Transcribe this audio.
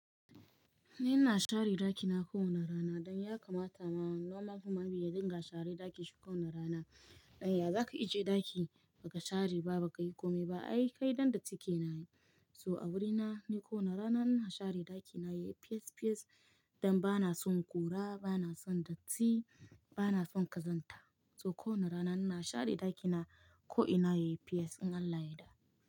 Ni na share ɗakina kowana rana don ya kamata ma. Normal human being y dinga share ɗakin shi kowani rana. Don ya zaka ije ɗaki baka share ba bakayi komai ba. Ai kai dandatti kenaye. So a wurina ni kowana rana na share ɗakina yayi fiyes fiyes don bana son ƙura, bana son datti, bana son kazanta. So kowana rana na share ɗakina ko ina yayi fiyes in Allah ya da.